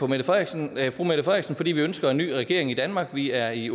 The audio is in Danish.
mette frederiksen fordi vi ønsker en ny regering i danmark vi er i